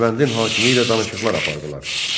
Dərbəndin hakimi ilə danışıqlar apardılar.